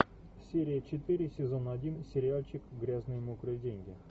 серия четыре сезон один сериальчик грязные мокрые деньги